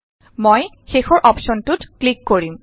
মই শেষৰ অপশ্যনটোত ক্লিক কৰিম